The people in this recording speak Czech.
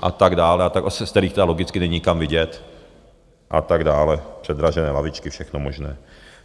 a tak dále, z kterých tedy logicky není nikam vidět a tak dále, předražené lavičky, všechno možné.